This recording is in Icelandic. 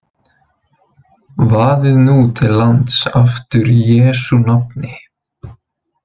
Vaðið nú til lands aftur í Jesú nafni.